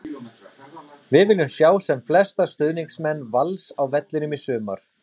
Við viljum sjá sem flesta stuðningsmenn Vals á vellinum í sumar!